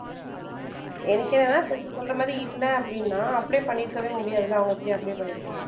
எனக்கு என்னன்னா இப்ப நீ சொல்ற மாதிரி இல்ல அப்படின்னா apply பண்ணியிருக்கவே முடியாதுல்ல அவங்க எப்படி apply பண்ணியிருப்பாங்க